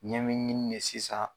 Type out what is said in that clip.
Ɲɛ me ɲin de sisa